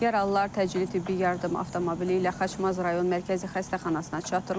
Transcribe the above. Yaralılar təcili tibbi yardım avtomobili ilə Xaçmaz rayon mərkəzi xəstəxanasına çatdırılıb.